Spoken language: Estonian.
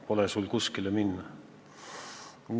Pole sul kuskile minna!